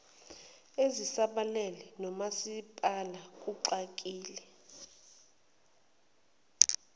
ezisabalele nomasipala kugxile